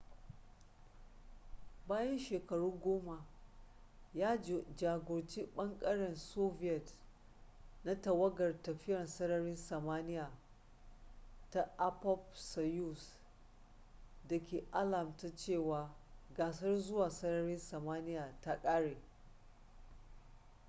bayan shekaru goma ya jagoranci ɓangaren soviet na tawagar tafiya sararin samaniya ta appop-soyuz da ke alamta cewa gasar zuwa sararin samaniya ta ƙare